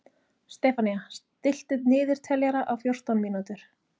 Stefanía, stilltu niðurteljara á fjórtán mínútur.